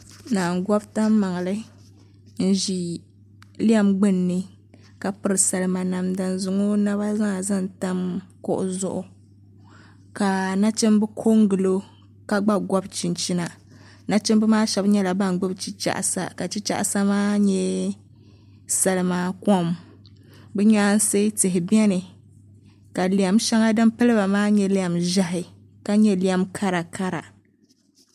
Naa n gobi tan maŋli n ʒi salima maa kuɣu zuɣu ka zaŋ o naba maa zaŋ tam kuɣu zuɣu ka nachimbi ko n gilo ka gba gobi chinchina nachimbi maa shab nyɛla ban gbuni chichaɣasa ka chichaɣasa maa nyɛ salima kom bi nyaansi tihi biɛni ka lɛm shɛŋa din piliba maa nyɛ lɛm ʒiɛhi ka nyɛ lɛm karakara